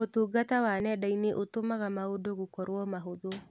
ũtungata wa nenda-inĩ ũtũmaga maũndũ gũkorwo mahũthũ.